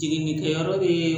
Jiginnikɛyɔrɔ bee